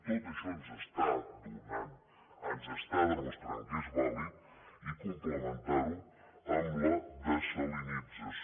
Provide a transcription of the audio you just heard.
tot això ens està donant ens està demostrant que és vàlid i complementar ho amb la dessalinització